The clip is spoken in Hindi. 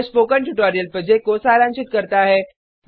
यह स्पोकन ट्यूटोरियल प्रोजेक्ट को सारांशित करता है